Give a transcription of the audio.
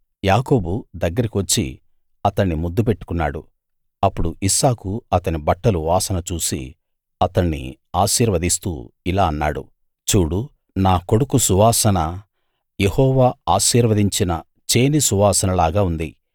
యాకోబు దగ్గరికి వచ్చి అతణ్ణి ముద్దు పెట్టుకున్నాడు అప్పుడు ఇస్సాకు అతని బట్టలు వాసన చూసి అతణ్ణి ఆశీర్వదిస్తూ ఇలా అన్నాడు చూడు నా కొడుకు సువాసన యెహోవా ఆశీర్వదించిన చేని సువాసనలాగా ఉంది